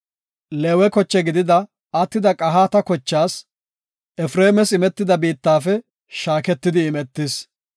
Leewe koche gidida, attida Qahaata kochaas, Efreemas imetida biittafe shaaketidi imetis.